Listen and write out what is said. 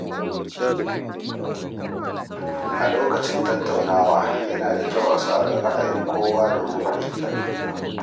A lokacin tattaunawa, yana da kyau a saurari ra’ayin kowa domin fahimtar juna.